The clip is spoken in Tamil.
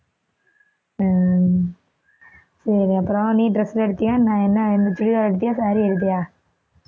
உம் சரி அப்புறம் நீ dress எல்லாம் எடுத்தியா என்ன என்ன chudithar எடுத்தியா saree எடுத்தியா